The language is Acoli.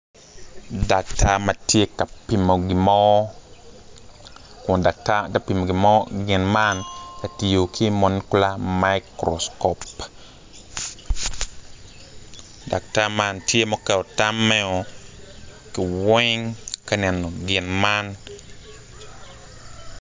Daktar ma tye ka pimo gin mo an atura dok atura man tye madwong adada kun bene nyig kic acel tye ma opye i kom atura man dok nyig kic man tye ka cwiyo moc ature man